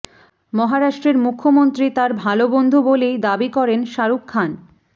মহারাষ্ট্রের মুখ্যমন্ত্রী তাঁর ভাল বন্ধু বলেই দাবি করেন শাহরুখ খান